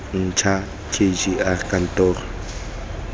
ntšha k g r kantoro